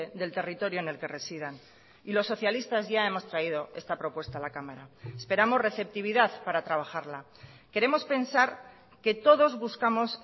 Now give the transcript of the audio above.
del territorio en el que residan y los socialistas ya hemos traído esta propuesta a la cámara esperamos receptividad para trabajarla queremos pensar que todos buscamos